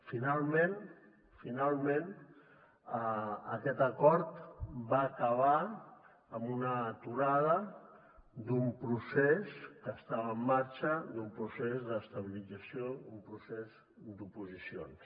finalment finalment aquest acord va acabar amb una aturada d’un procés que estava en marxa d’un procés d’estabilització d’un procés d’oposicions